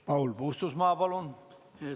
Paul Puustusmaa, palun!